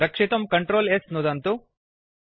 रक्षितुं Ctrl S नुदन्तु